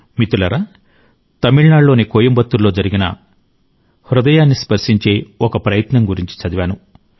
మిత్రులారా తమిళనాడులోని కోయంబత్తూర్లో జరిగిన హృదయాన్ని స్పర్శించే ఒక కృషి గురించి చదివాను